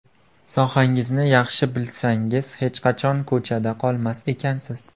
Sohangizni yaxshi bilsangiz hech qachon ko‘chada qolmas ekansiz.